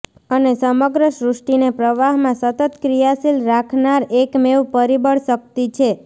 અને સમગ્ર સૃષ્ટિને પ્રવાહમાં સતત ક્રિયાશીલ રાખનાર એકમેવ પરિબળ શક્તિ છે